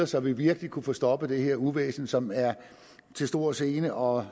så vi virkelig kunne få stoppet det her uvæsen som er til stor gene og